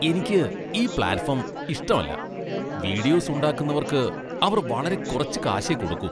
എനിക്ക് ഈ പ്ലാറ്റ്ഫോം ഇഷ്ടമല്ല. വീഡിയോസ് ഉണ്ടാക്കുന്നവർക്ക് അവർ വളരെ കുറച്ച് കാശേ കൊടുക്കൂ.